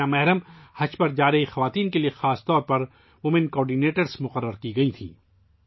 محرم کے بغیر حج پر جانے والی خواتین کے لیے خصوصی طور پر خواتین کوآرڈینیٹر بھی مقرر کی گئی تھیں